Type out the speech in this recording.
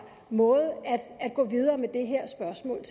måde at gå videre med det her spørgsmål